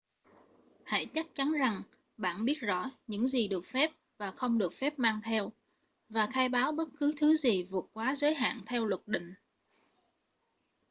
hãy chắc chắn rằng bạn biết rõ những gì được phép và không được phép mang theo và khai báo bất cứ thứ gì vượt quá giới hạn theo luật định